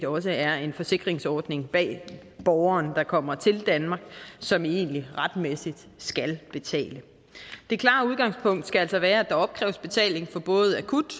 også er en forsikringsordning bag borgeren der kommer til danmark som egentlig retmæssigt skal betale det klare udgangspunkt skal altså være at der opkræves betaling for både akut